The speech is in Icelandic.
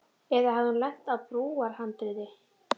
Eða hafði hún lent á brúarhandriði.